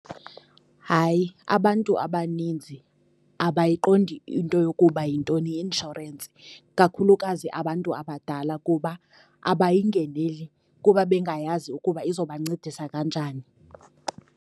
Hayi, abantu abaninzi abayiqondi into yokuba yintoni i-inshorensi, kakhulukazi abantu abadala, kuba abayingeneli, kuba bengayazi ukuba izobancedisa kanjani.